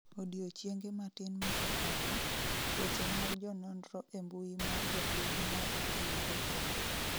odiochienge matin mosekalo, weche mag jononro e mbui mar jopiny ne othinyore kendo